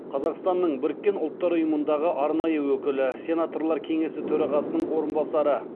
қазақстанның біріккен ұлттар ұйымындағы арнайы өкілі сенаторлар кеңесі төрағасының орынбасары